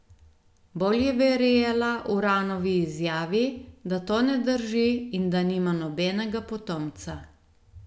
Bolj je verjela Uranovi izjavi, da to ne drži in da nima nobenega potomca.